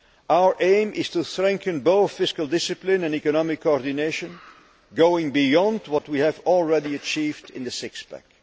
Our aim is to strengthen both fiscal discipline and economic coordination, going beyond what we have already achieved in the six pack'.